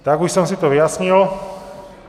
Tak už jsem si to vyjasnil.